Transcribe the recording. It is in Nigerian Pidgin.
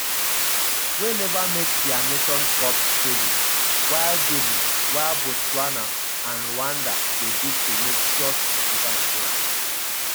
wey neva make dia nations cup debut while debut while botswana and rwanda dey bid to make just a second appearance.